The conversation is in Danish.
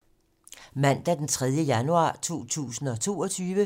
Mandag d. 3. januar 2022